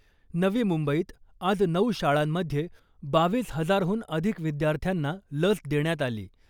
नवी मुंबईत आज नऊ शाळांमध्ये बावीस हजारहून अधिक विद्यार्थ्यांना लस देण्यात आली .